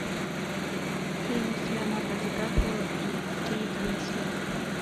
фильм с леонардо ди каприо и кейт уинслет